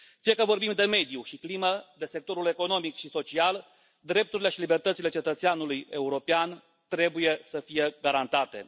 Fie că vorbim de mediu și climă, de sectorul economic și social, drepturile și libertățile cetățeanului european trebuie să fie garantate.